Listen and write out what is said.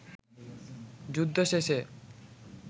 যুদ্ধ শেষে